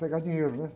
Pegar dinheiro, né?